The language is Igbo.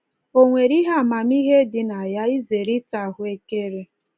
O nwere ihe amamihe dị na ya izere ịta ahụekere?